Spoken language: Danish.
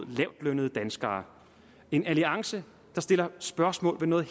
lavtlønnede danskere en alliance der sætter spørgsmålstegn ved